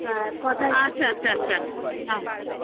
অ্যা কথায় আচ্ছা আচ্ছা নাও.